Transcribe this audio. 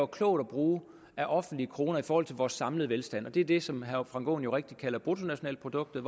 klogt at bruge af offentlige kroner i forhold til vores samlede velstand det er det som herre frank aaen rigtigt kalder bruttonationalproduktet